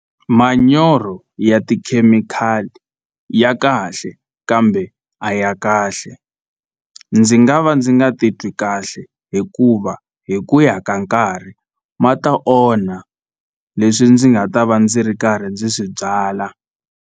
Manyoro ya tikhemikhali ya kahle kambe a ya kahle ndzi nga va ndzi nga titwi kahle hikuva hi ku ya ka nkarhi ma ta onha leswi ndzi nga ta va ndzi ri karhi ndzi swi byala.